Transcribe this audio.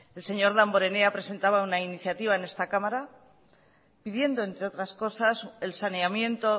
el señor damborenea presentaba una iniciativa en esta cámara pidiendo entre otras cosas el saneamiento